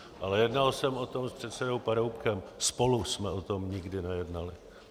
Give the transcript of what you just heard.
Ale jednal jsem o tom s předsedou Paroubkem, spolu jsme o tom nikdy nejednali.